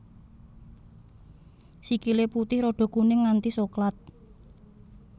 Sikile putih rada kuning nganti soklat